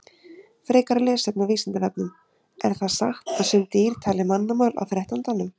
Frekara lesefni á Vísindavefnum: Er það satt að sum dýr tali mannamál á þrettándanum?